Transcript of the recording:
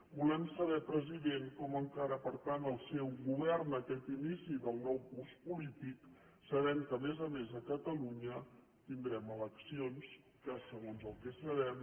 volem saber president com encara per tant el seu govern aquest inici del nou curs polític sabent que a més a més a catalunya tindrem eleccions que segons el que sabem